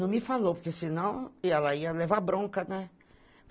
Não me falou, porque senão ela ia levar bronca, né?